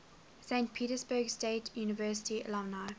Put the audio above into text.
saint petersburg state university alumni